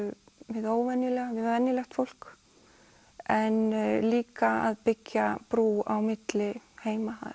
hið óvenjulega við venjulegt fólk en líka að byggja brú á milli heima